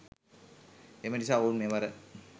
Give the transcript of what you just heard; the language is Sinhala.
එම නිසා ඔවුන් මෙවර